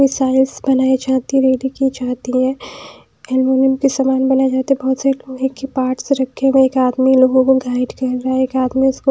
size बनाई जाती की जाती है एलुमिनियम के सामान बनाए जाते है बहोत सारे लोहे के पार्ट्स रखे हुए हैएक आदमी लोगो को गाइड कर रहा हैएक आदमी उसको --